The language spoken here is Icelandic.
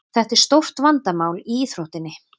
Þetta er stórt vandamál í íþróttinni.